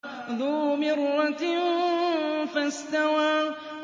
ذُو مِرَّةٍ فَاسْتَوَىٰ